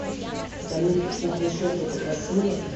салют пухлые щеки это красиво